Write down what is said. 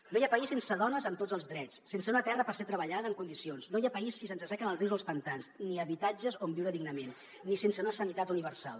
no hi ha país sense dones amb tots els drets sense una terra per ser treballada en condicions no hi ha país si se’ns assequen els rius o els pantans ni habitatges on viure dignament ni sense una sanitat universal